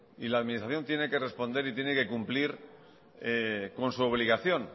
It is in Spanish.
y la administración tiene que responder y tiene que cumplir con su obligación